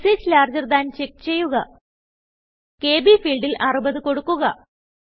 messages larger than check ചെയ്യുക KB ഫീൽഡിൽ 60കൊടുക്കുക